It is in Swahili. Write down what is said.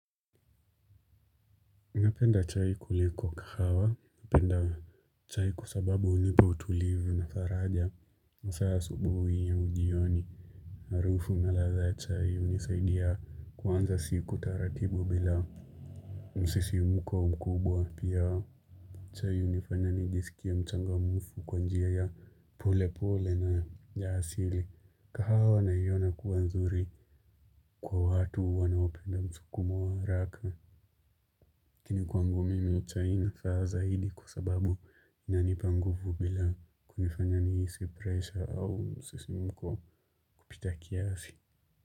Napenda chai kuliko kahawa, napenda chai kwsababu hunipa utulivu na faraja masaa ya asubuhi au ujioni. Harufu na ladha chai hunisaidia kuanza siku taratibu bila msisimko mkubwa pia. Chai hunifana nijisikie mchangamfu kwa njia ya pole pole na ya asili, kahawa naiona kuwa nzuri kwa watu wanaopenda msukumo wa haraka lakini kwangu mimi chai inafaa zaidi kwa sababu inanipa nguvu bila kunifanya nihisi pressure au msisimko kupita kiasi.